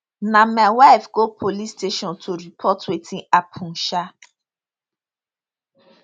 na my wife go police station to report wetin happun um